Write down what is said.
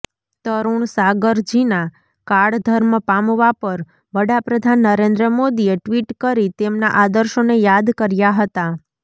તરૂણ સાગરજીના કાળધર્મ પામવા પર વડાપ્રધાન નરેન્દ્ર મોદીએ ટ્વિટ કરી તેમના આદર્શોને યાદ કર્યા હતાં